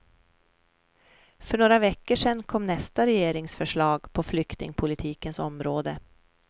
För några veckor sen kom nästa regeringsförslag på flyktingpolitikens område.